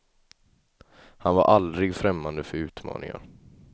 Han var aldrig främmande för utmaningar.